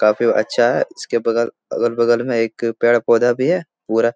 काफी अच्छा है इसके बगल अगल-बगल में एक पेड़ पौधा भी है पूरा --